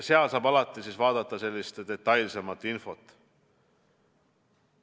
Sealt saab alati vaadata detailsemat infot.